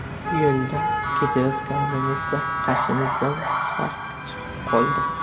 Yo‘lda ketayotganimizda qarshimizdan Spark chiqib qoldi.